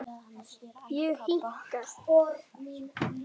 Ég hika.